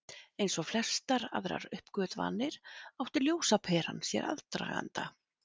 eins og flestar aðrar uppgötvanir átti ljósaperan sér aðdraganda